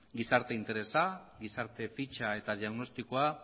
gizarte interesa gizarte fitxa eta diagnostikoa